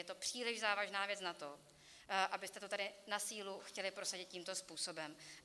Je to příliš závažná věc na to, abyste to tady na sílu chtěli prosadit tímto způsobem.